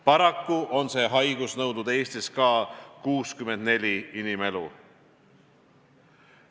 Paraku on see haigus nõudnud Eestis ka 64 inimelu.